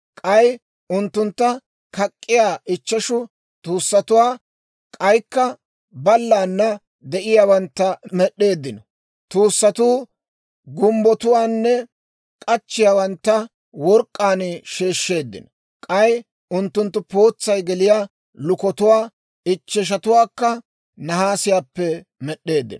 K'ay unttuntta kak'k'iyaa ichcheshu tuussatuwaa, kak'k'iyaa ballaana de'iyaawantta med'd'eeddino. Tuussatuu gumbbotuwaanne k'achchiyaawantta work'k'aan sheeshsheeddino. K'ay unttunttu pootsay geliyaa lukotuwaa ichcheshatuwaakka nahaasiyaappe med'd'eeddino.